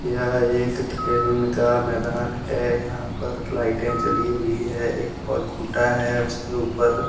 यह एक खेलने का मैदान है यहां पर लाइटें जली हुई है एक पोल खुटा है उसके ऊपर।